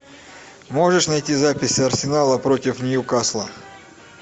можешь найти запись арсенала против ньюкасла